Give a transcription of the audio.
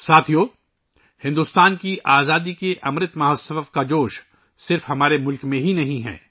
ساتھیو ، ہندوستان کی آزادی کے امرت مہوتسو کا جوش و خروش صرف ہمارے ملک میں ہی نہیں ہے